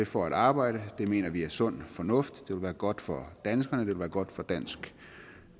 for at arbejde det mener vi er sund fornuft det vil være godt for danskerne vil være godt for dansk